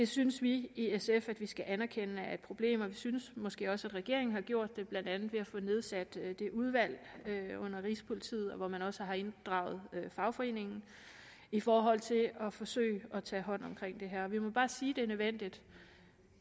synes vi i sf at vi skal anerkende er et problem og vi synes måske også at regeringen har gjort det blandt andet ved at få nedsat det udvalg under rigspolitiet hvor man også har inddraget fagforeningen i forhold til at forsøge at tage hånd om det her vi må bare sige det er nødvendigt